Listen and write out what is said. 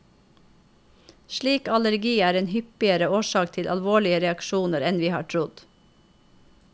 Slik allergi er en hyppigere årsak til alvorlige reaksjoner enn vi har trodd.